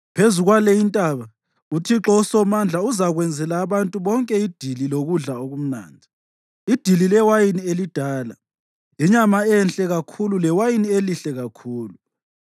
Phezu kwale intaba uThixo uSomandla uzakwenzela abantu bonke idili lokudla okumnandi, idili lewayini elidala, inyama enhle kakhulu lewayini elihle kakhulu.